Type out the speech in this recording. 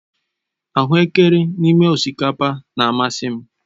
Ahuekere n'ime osikapa na-amasị m.